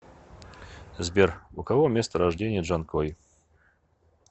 сбер у кого место рождения джанкой